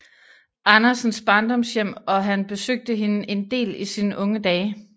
Andersens Barndomshjem og han besøgte hende en del i sine unge dage